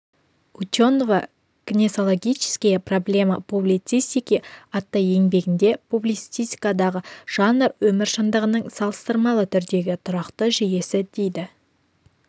ученова гносеологические проблемы публицистики атты еңбегінде публицистикадағы жанр өмір шындығының салыстырмалы түрдегі тұрақты жүйесі дейді